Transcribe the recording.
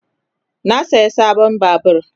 Na siya sabon babur.